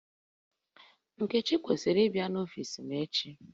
Nkechi kwesiri ị bia n'ọfis m echi